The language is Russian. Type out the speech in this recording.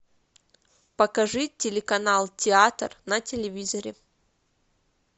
покажи телеканал театр на телевизоре